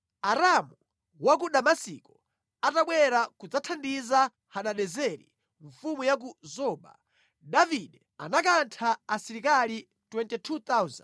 Aramu wa ku Damasiko atabwera kudzathandiza Hadadezeri mfumu ya ku Zoba, Davide anakantha asilikali 22,000.